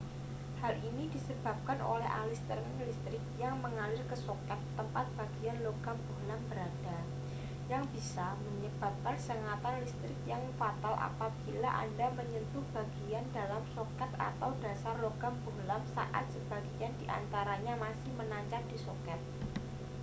hal ini disebabkan oleh aliran listrik yang mengalir ke soket tempat bagian logam bohlam berada yang bisa menyebabkan sengatan listrik yang fatal apabila anda menyentuh bagian dalam soket atau dasar logam bohlam saat sebagian di antaranya masih menancap di soket